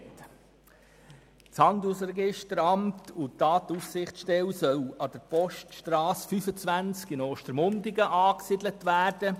Das Handelsregisteramt und die Datenaufsichtsstelle sollen an der Poststrasse 25 in Ostermundigen angesiedelt werden.